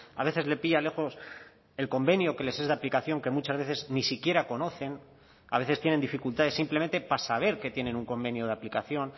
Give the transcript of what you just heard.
a veces le pilla lejos el convenio que les es de aplicación que muchas veces ni siquiera conocen a veces tienen dificultades simplemente para saber que tienen un convenio de aplicación